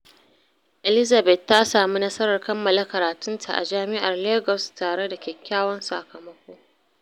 Elizabeth ta sami nasarar kammala karatunta a Jami’ar Lagos tare da kyakkyawan sakamako.